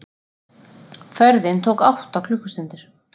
Ferðin tók átta klukkustundir.